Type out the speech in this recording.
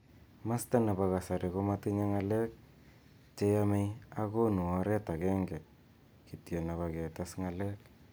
Masta nebo kasari ko matinye ng'alek che yamei ak konu oret agenge kityo nebo ketes ng'alek